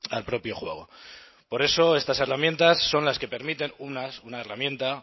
al propio juego por eso estas herramientas son las que permiten una herramienta